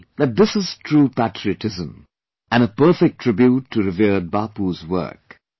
I feel that this is true patriotism, and a perfect tribute to revered Bapu's work